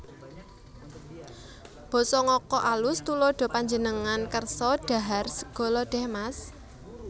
Basa Ngoko AlusTuladha Panjenengan kersa dhahar sega lodèh Mas